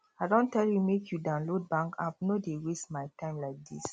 i don tell you make you download bank app no dey waste my time like this